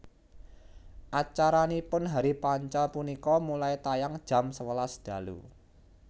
Acaranipun Hari Panca punika mulai tayang jam sewelas dalu